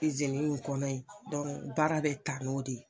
I kɔnɔ yen baara bɛ ta n'o de ye.